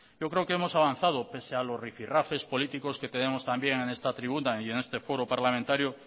yo creo que hemos avanzado pese a los rifi rafes políticos que tenemos también en esta tribuna y en este foro parlamentario